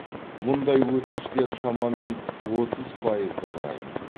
мұндай өтініштер шамамен отыз пайызды құрайды